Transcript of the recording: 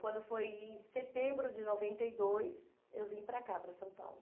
Quando foi em setembro de noventa e dois, eu vim para cá, para São Paulo.